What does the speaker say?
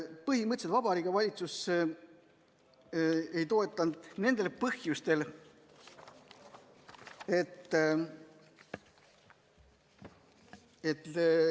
Põhimõtteliselt Vabariigi Valitsus ei toetanud järgmistel põhjustel.